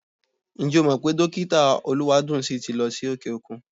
Ǹjẹ́ o mọ̀ pé Dọ́kítà Olúwadùnńsìn ti lọ sí òkè-òkun?